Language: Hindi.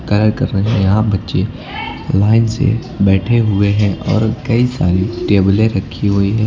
कार्य कर रहे हैं यहां बच्चे लाइन से बैठे हुए और कई सारी टेबलें रखी हुई हैं।